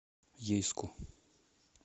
ейску